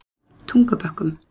Tungubökkum